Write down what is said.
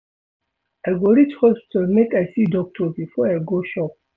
I go reach hospital make I see doctor before I go shop.